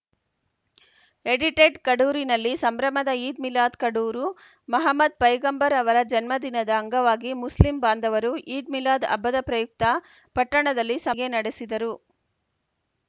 edited ಕಡೂರಿನಲ್ಲಿ ಸಂಭ್ರಮದ ಈದ್‌ ಮಿಲಾದ್‌ ಕಡೂರು ಮಹಮ್ಮದ್‌ ಪೈಗಂಬರ್‌ ಅವರ ಜನ್ಮದಿನದ ಅಂಗವಾಗಿ ಮುಸ್ಲಿಂ ಬಾಂಧವರು ಈದ್‌ ಮಿಲಾದ್‌ ಹಬ್ಬದ ಪ್ರಯುಕ್ತ ಪಟ್ಟಣದಲ್ಲಿ ಸಭೆ ನಡೆಸಿದರು